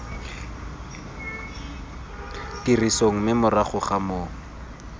tirisong mme morago ga moo